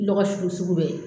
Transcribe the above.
Lɔgɔ sugu